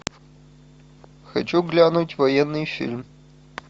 хочу глянуть военный фильм